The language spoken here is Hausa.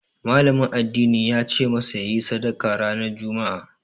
Malamin addinin yace masa yayi sadaka ranar Juma'a